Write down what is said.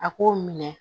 A k'o minɛ